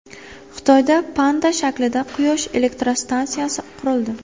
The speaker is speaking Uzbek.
Xitoyda panda shaklida quyosh elektrostansiyasi qurildi.